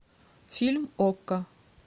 фильм окко